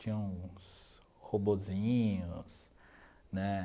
Tinha uns robozinhos, né?